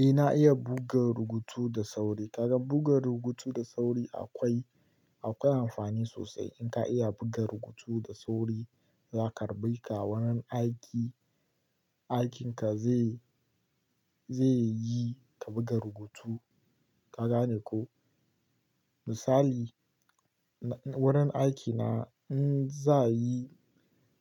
Eh na iya buga rubutu da sauri. Kaga buga rubutu da sauri akwai, akwai amfani sosai. In ka iya buga rubutu da sauri, za ka raba ka. Wurin aiki, aikinka zai, zai yi ka buga rubutu. Ka gane ko? Misali na wurin aikina, in za'a yi